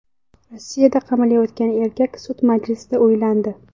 Rossiyada qamalayotgan erkak sud majlisida uylandi.